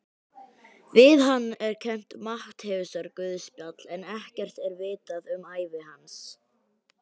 Við hann er kennt Matteusarguðspjall en ekkert er vitað um ævi hans.